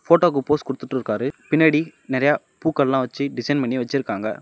போட்டோக்கு pose கொடுத்துட்டுருக்காரு. பின்னாடி நிறைய பூக்கள்லா வச்சு டிசைன் பண்ணி வச்சிருக்காங்க.